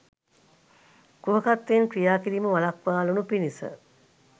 කුහකත්වයෙන් ක්‍රියා කිරීම වළක්වාලනු පිණිස